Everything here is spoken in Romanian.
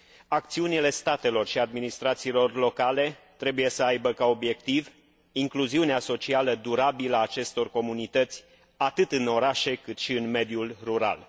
Acțiunile statelor și administrațiilor locale trebuie să aibă ca obiectiv incluziunea socială durabilă a acestor comunități atât în orașe, cât și în mediul rural.